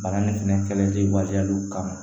Bana nin fɛnɛ kɛlen waleyaliw kama